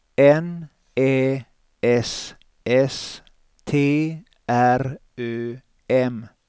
N Ä S S T R Ö M